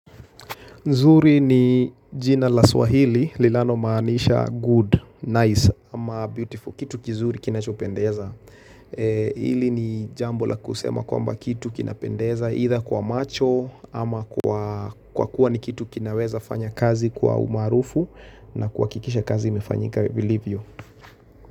Nzuri ni jina la swahili, linalo maanisha good, nice, ama beautiful, kitu kizuri kinachopendeza. Hili ni jambo la kusema kwa mba kitu kinapendeza, ila kwa macho, ama kwa kuwa ni kitu kinaweza fanya kazi kwa umaarufu, na kwa kikisha kazi imefanyika, believe you.